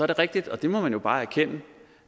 det rigtigt og det må man jo bare erkende